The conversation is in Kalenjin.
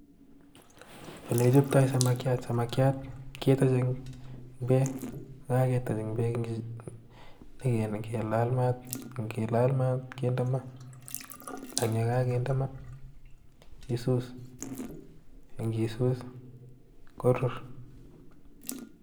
Ele kichoptoi samakiat, samakiat ketonye en beek, kokatony en beek ak kilal maat ko kakilaal maat kinde maa ak ye kakinde maa isuus ak ndisuus korur